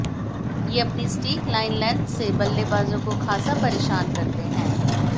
ये अपनी सटीक लाईन लेंग्थ से बल्लेबाजों को खासा परेशान करते हैं